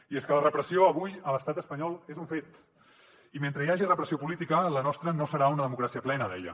i és que la repressió avui a l’estat espanyol és un fet i mentre hi hagi repressió política la nostra no serà una democràcia plena deia